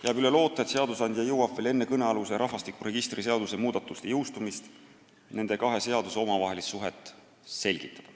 Jääb üle loota, et seadusandja jõuab veel enne rahvastikuregistri seaduse muudatuste jõustumist nende kahe seaduse omavahelist suhet reguleerida.